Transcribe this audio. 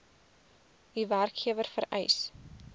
u werkgewer vereis